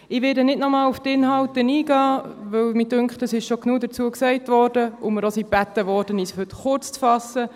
Ich werde nicht noch einmal auf die Inhalte eingehen, weil mir scheint, dass bereits genug dazu gesagt wurde und wir auch gebeten wurden, uns heute kurzzufassen.